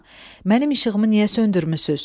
mənim işığımı niyə söndürmüsüz?